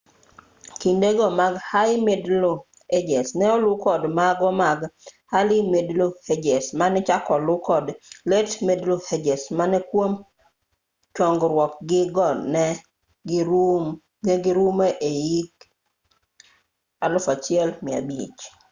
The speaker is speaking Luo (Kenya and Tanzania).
kinde go mag high middle ages ne olu kod mago mag early middle ages mane ochak olu kod late middle ages ma kwom chogruog-gi go ne girumo e hik 1500